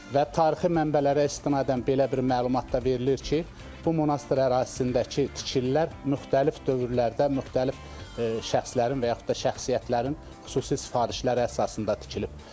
Və tarixi mənbələrə istinadən belə bir məlumat da verilir ki, bu monastır ərazisindəki tikililər müxtəlif dövrlərdə müxtəlif şəxslərin və yaxud da şəxsiyyətlərin xüsusi sifarişləri əsasında tikilib.